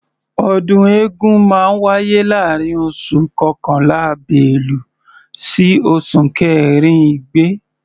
Ọdún eégún máa ń wáyé láàárín oṣù kọkànlá(bélú) sí oṣù kẹrin (igbe).